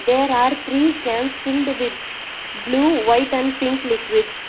there are three cans filled with blue white and pink liquids.